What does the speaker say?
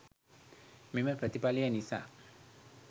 මෙම ප්‍රතිඵලය නිසා